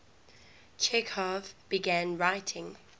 chekhov began writing